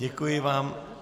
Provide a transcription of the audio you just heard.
Děkuji vám.